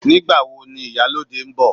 Nígbàwo ni ìyálóde ń bọ̀